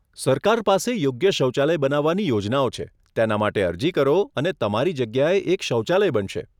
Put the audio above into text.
સરકાર પાસે યોગ્ય શૌચાલય બનાવવાની યોજનાઓ છે, તેના માટે અરજી કરો અને તમારી જગ્યાએ એક શૌચાલય બનશે.